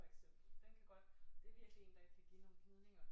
For eksempel den kan godt det er virkelig en der kan give nogle gnidninger